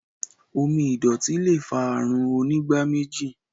omí ìdòtí lẹ fà Àrùn Onígbáméjì.